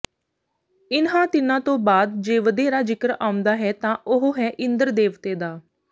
ਇਨ੍ਹਾਂ ਤਿੰਨਾਂ ਤੋਂ ਬਾਅਦ ਜੇ ਵਧੇਰਾ ਜ਼ਿਕਰ ਆਉਂਦਾ ਹੈ ਤਾਂ ਉਹ ਹੈ ਇੰਦ੍ਰ ਦੇਵਤੇ ਦਾ